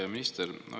Hea minister!